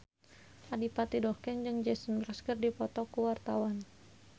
Adipati Dolken jeung Jason Mraz keur dipoto ku wartawan